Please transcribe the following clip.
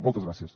moltes gràcies